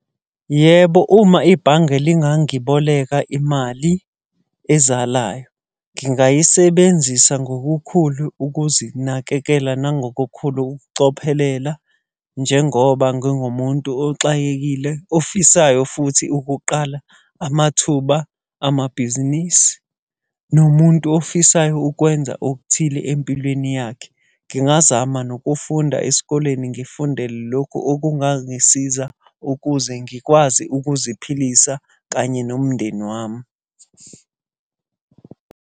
Yebo uma ibhange lingangiboleka imali ezalayo. Ngingayisebenzisa ngokukhulu ukuzinakekela nangokukhulu ukucophelela, njengoba ngingumuntu oxakekile, ofisayo futhi ukuqala amathuba amabhizinisi, nomuntu ofisayo ukwenza okuthile empilweni yakhe. Ngingazama nokufunda esikoleni ngifunde lokhu okungangisiza, ukuze ngikwazi ukuziphilisa kanye nomndeni wami.